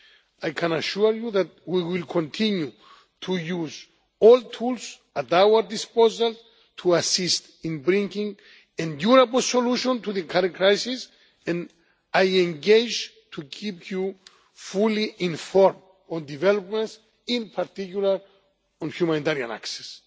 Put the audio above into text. I can assure you that we will continue to use all tools at our disposal to assist in bringing a durable solution to the current crisis, and I engage to keep you fully informed on developments, in particular on humanitarian access.